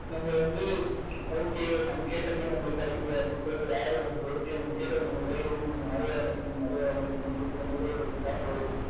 நம்ம வந்து okay நம்ம கேட்ட pay நம்மளுக்கு கிடைக்குது அப்படின்ற ஒரு ஆர்வம் இருக்கு okay நம்ம கேட்டது வந்து நம்மளுக்கு கிடைக்குது இன்னும் நம்ம நிறைய வேலை செய்யணும் நிறைய வேலை செய்யணும் அப்படின்ற மாதிரி ஒரு thought வரும்.